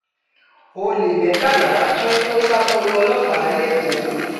ọ̀lẹ́ mẹ́tàlá tún kọ́ ṣàkólò ọlọ́pàá lẹ́kọ̀ọ́